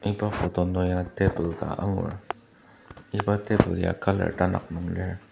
iba photo nung ya table ka angur iba table ya colour tanak nung lir.